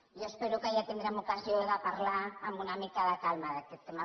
jo espero que ja tindrem ocasió de parlar amb una mica de calma d’aquest tema